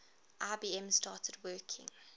ibm started working